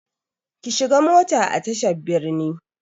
Ki shiga mota a tashar birni!